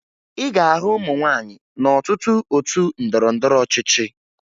Ị ga-ahụ ụmụ nwaanyị n'ọtụtụ otu ndọrọndọrọ ọchịchị